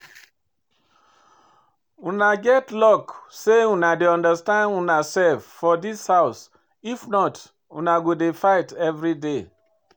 Una get luck say una dey understand una self for dis house if not una go dey fight everyday